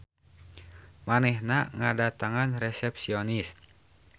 Manehna ngadatangan resepsionis.